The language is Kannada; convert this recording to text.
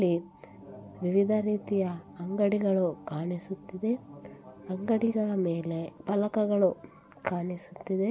ಲಿ ವಿವಿಧ ರೀತಿಯ ಅಂಗಡಿಗಳು ಕಾಣಿಸುತ್ತಿದೆ ಅಂಗಡಿಗಳ ಮೇಲೆ ಪಲಕಗಳು ಕಾಣಿಸುತ್ತಿದೆ .